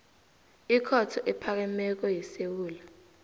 ikhotho ephakemeko yesewula